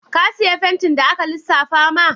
Ka siyu fentin da aka lissafa ma?